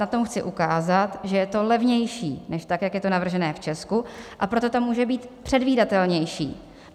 Na tom chci ukázat, že je to levnější než tak, jak je to navržené v Česku, a proto to může být předvídatelnější.